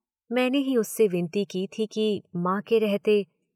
मैंने ही उससे विनती की थी कि मां के रहते